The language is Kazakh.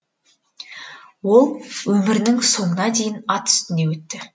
ол өмірінің соңына дейін ат үстінде өтті